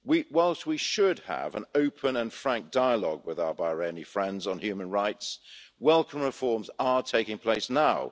Whilst we should have an open and frank dialogue with our Bahraini friends on human rights, welcome reforms are taking place now.